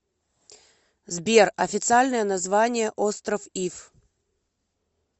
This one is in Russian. сбер официальное название остров иф